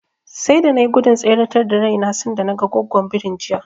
Sai da na nai gudun tseretar da raina sanda naga Goggon birin jiya.